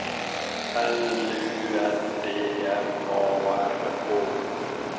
L U N D M A R K